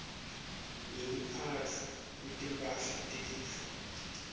wekuphatfwa kwetimphahla telifa